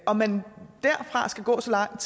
om man derfra skal gå så langt